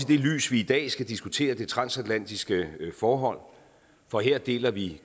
det lys vi i dag skal diskutere det transatlantiske forhold for her deler vi